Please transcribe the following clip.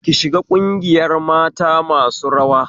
Ki shiga ƙungiyar mata masu rawa